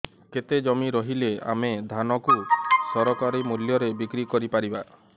କେତେ ଜମି ରହିଲେ ଆମେ ଧାନ କୁ ସରକାରୀ ମୂଲ୍ଯରେ ବିକ୍ରି କରିପାରିବା